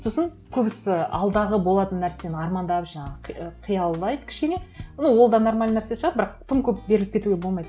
сосын көбісі алдағы болатын нәрсені армандап жаңағы қиялдайды кішкене ну ол да нормальный нәрсе шығар бірақ тым көп беріліп кетуге болмайды